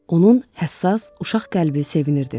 Onun həssas uşaq qəlbi sevinirdi.